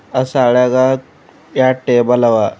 ಆ ಶಾಲ್ಯಾಗ ಎರ್ಡ್ ಟೇಬಲ್ ಅವ.